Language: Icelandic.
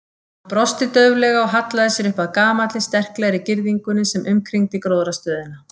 Hann brosti dauflega og hallaði sér upp að gamalli, sterklegri girðingunni sem umkringdi gróðrarstöðina.